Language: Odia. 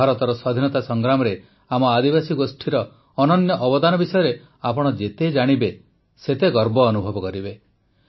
ଭାରତର ସ୍ୱାଧୀନତା ସଂଗ୍ରାମରେ ଆମ ଆଦିବାସୀ ଗୋଷ୍ଠୀର ଅନନ୍ୟ ଅବଦାନ ବିଷୟରେ ଆପଣ ଯେତେ ଜାଣିବେ ସେତେ ଗର୍ବ ଅନୁଭବ କରିବେ